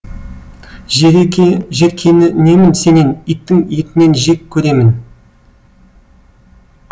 жеркенемін сенен иттің етінен жек көремін